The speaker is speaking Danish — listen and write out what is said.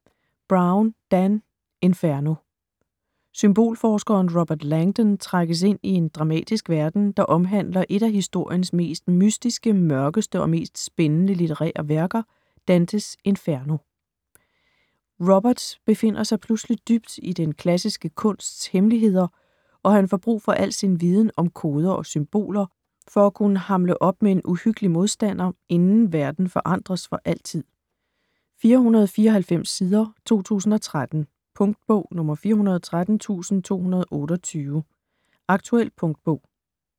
Brown, Dan: Inferno Symbolforskeren Robert Langdon trækkes ind i en dramatisk verden, der omhandler et af historiens mest mystiske, mørkeste og mest spændende litterære værker: Dantes Inferno. Robert befinder sig pludselig dybt i den klassiske kunst hemmeligheder og han får brug for al sin viden om koder og symboler, for at kunne hamle op med en uhyggelig modstander, inden verden forandres for altid. 494 sider, 2013. Punktbog 413228 Aktuel punktbog